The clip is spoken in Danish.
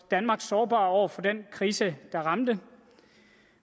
danmark sårbar over for den krise der ramte